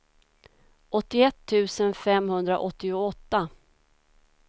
åttioett tusen femhundraåttioåtta